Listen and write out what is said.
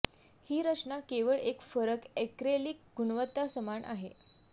ही रचना केवळ एक फरक ऍक्रेलिक गुणवत्ता समान आहे